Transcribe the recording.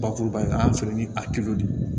Bakuruba in an fɛ ni a de ye